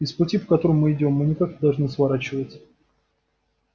и с пути по которому мы идём мы никак не должны сворачивать